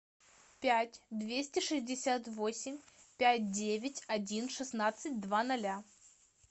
пять двести шестьдесят восемь пять девять один шестнадцать два ноля